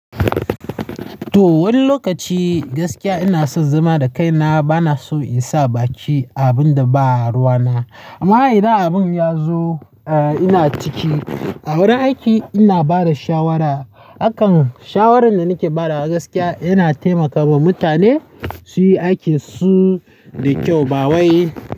To, wani lokaci gaskiya ina son zama da kaina, bana so in sa baki aabun da ba ruwana. Amma idan abun ya zo, eh ina ciki. A wurin aiki ina bada shawara. Akan shawaran da nake badawa gaskiya yana taimakawa mutane suyi aikin su da kyau ba wai.